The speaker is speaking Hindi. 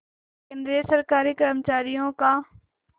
केंद्रीय सरकारी कर्मचारियों का